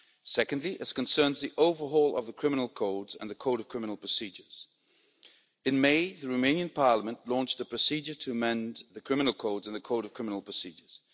Secondly, as concerns the overhaul of the criminal codes and the code of criminal procedures, in May the Romanian Parliament launched a procedure to amend the criminal code and the code of criminal procedures.